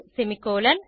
semicolon